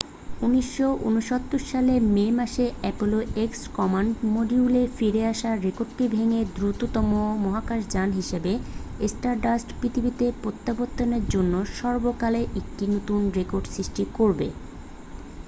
1969 সালের মে মাসে অ্যাপোলো এক্স কমান্ড মডিউলের ফিরে আসার রেকর্ডটি ভেঙে দ্রুততম মহাকাশযান হিসাবে স্টারডাস্ট পৃথিবীতে প্রত্যাবর্তনের জন্য সর্বকালের একটি নতুন রেকর্ড সৃষ্টি করবে